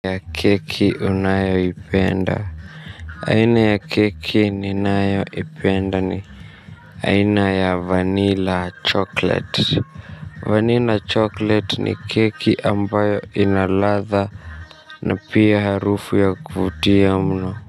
Aina ya keki ninayoipenda ni aina ya Vanilla Chocolate Vanilla Chocolate ni keki ambayo ina ladha na pia harufu ya kuvutia mno.